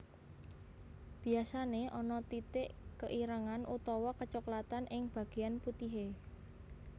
Biasané ana titik keirengan utawa kecoklatan ing bagéyan putihé